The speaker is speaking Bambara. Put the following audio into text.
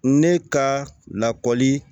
Ne ka lakɔli